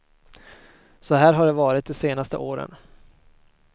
Så här har det varit de senaste åren.